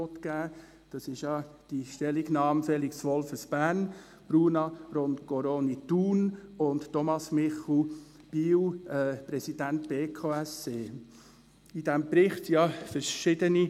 Es geht um die Stellungnahme von Felix Wolffers, Bern, von Bruna Roncoroni, Thun, und von Thomas Michel, Biel, Präsident der Berner Konferenz für Sozialhilfe, Kindes- und Erwachsenenschutz (BKSE).